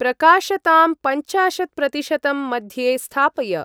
प्रकाशतां पञ्चाशत्-प्रतिशतं मध्ये स्थापय।